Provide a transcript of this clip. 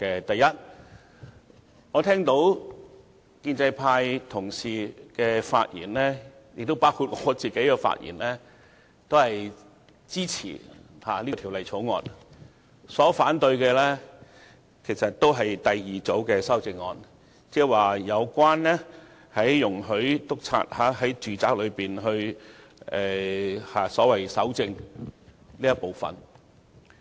第一，建制派同事，亦包括我均發言支持《條例草案》，反對的是第二組修正案，有關容許督察在住宅內搜證的部分。